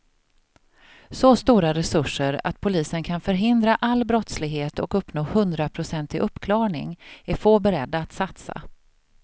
Så stora resurser att polisen kan förhindra all brottslighet och uppnå hundraprocentig uppklarning är få beredda att satsa.